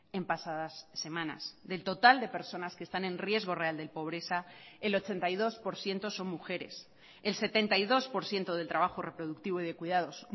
en pasadas semanas del total de personas que están en riesgo real de pobreza el ochenta y dos por ciento son mujeres el setenta y dos por ciento del trabajo reproductivo y de cuidados